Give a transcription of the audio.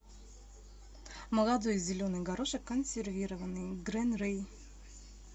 молодой зеленый горошек консервированный грин рей